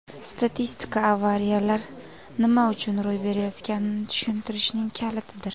Statistika - avariyalar nima uchun ro‘y berayotganini tushunishning kalitidir.